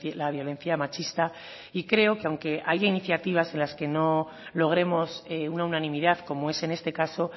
la violencia machista y creo que aunque haya iniciativas en las que no logremos una unanimidad como es en este caso